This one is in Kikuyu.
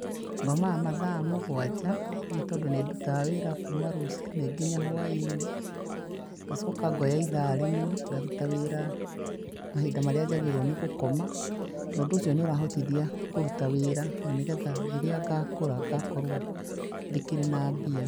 Ngomaga mathaa mũgwanja, nĩtondũ nĩndutaga wĩra kuuma rũcinĩ nginya hwainĩ, ngacoka ngoya ithaa rĩmwe, ngaruta wĩra mahinda marĩa njagĩrĩrwo nĩ gũkoma, na ũndũ ũcio nĩ ũrahotithia kũruta wĩra na nĩgetha rĩrĩa ngakũra ngakorwo ndĩkĩrĩ na mbia.